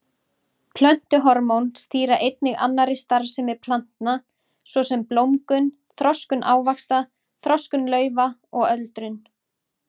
Plöntuhormón stýra einnig annarri starfsemi plantna svo sem blómgun, þroskun ávaxta, þroskun laufa og öldrun.